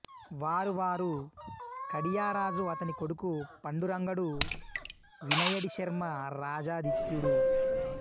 వారు వారు కడియరాజు అతని కొడుకు పండురంగడు వినయడి శర్మ రాజాదిత్యుడు